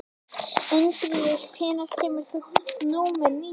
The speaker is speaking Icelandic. Ingiríður, hvenær kemur vagn númer nítján?